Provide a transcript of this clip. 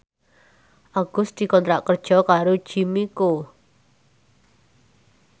Agus dikontrak kerja karo Jimmy Coo